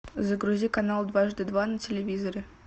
загрузи канал дважды два на телевизоре